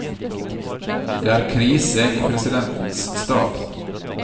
Det er krise i presidentens stab.